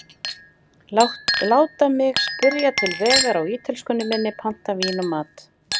Láta mig spyrja til vegar á ítölskunni minni, panta vín og mat.